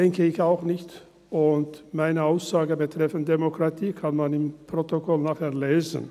das denke ich auch nicht, und meine Aussage betreffend Demokratie kann man nachher im Protokoll lesen.